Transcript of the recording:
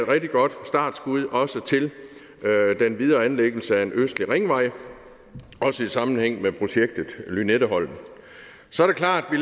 rigtig godt startskud til den videre anlæggelse af en østlig ringvej også i sammenhæng med projektet lynetteholmen så er det klart at vi